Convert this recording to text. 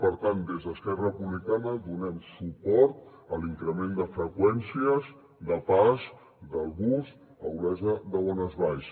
per tant des d’esquerra republicana donem suport a l’increment de freqüències de pas del bus a olesa de bonesvalls